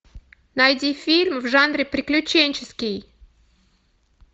найди фильм в жанре приключенческий